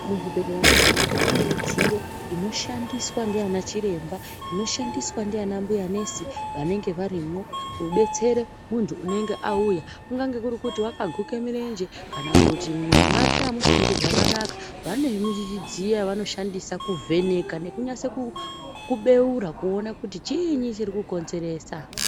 Muzvibhedhlera mwega mwega mune mwidziyo dzinoshandiswa nana chiremba , inoshandiswa nana mbuya nesi vanenge varimwo kudetsere muntu unenge auya kungange kuri kuti wakaguke mirenje kana kuti mumwoyo make amusi kuite zvakanaka vane midziyo yavanoshandisa ku vheneka nekunase ku beura kuona kuti chiinyi chirikukonzeresa.